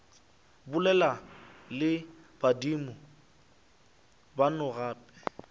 bolela le badimo beno gape